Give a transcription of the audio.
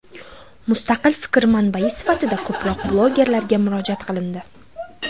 Mustaqil fikr manbai sifatida ko‘proq blogerlarga murojaat qilindi .